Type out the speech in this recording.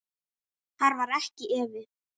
Þar var ekki efi.